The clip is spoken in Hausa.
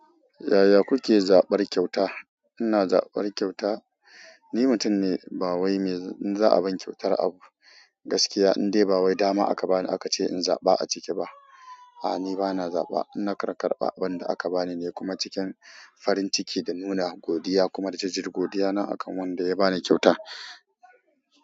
Yaya kuke zaɓar kyauta? Ina zaɓar kyauta, ni mutum ne bawai mai, in za'a bani kyautar abu, gaskiya in dai bawai dama aka bani aka ce in zaɓa a cike ba. A'a, ni ba na zaɓa. Ina karkarɓa wanda aka bani ne kuma cikin farin ciki da nuna godiya kuma da jajir godiya na akan wanda ya ba ni kyauta.